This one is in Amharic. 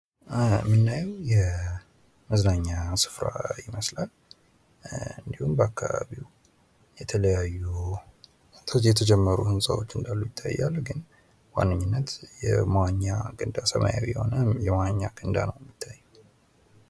የምናየው የመዝናኛ ስፍራ ይመስላል። እንድሁም በአካባቢው የተለያዩ የተጀመሩ ህንጻዎች እንዳሉ ይታያሉ። ግን በዋነኝነት የመዋኛ ገንዳ ሰማያዊ የሆነ የመዋኛ ገንዳ ነው።